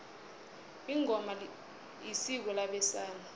ingoma isiko labesana